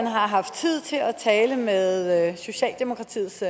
har haft tid til at tale med socialdemokratiets